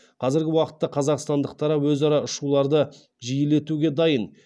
қазіргі уақытта қазақстандық тарап өзара ұшуларды жиілетуге дайын